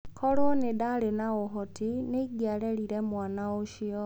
Korũo nĩ ndaarĩ na ũhoti, nĩ ingĩarereire mwana ũcio.